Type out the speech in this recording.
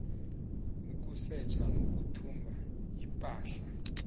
ukusetjha nokuthumba ipahla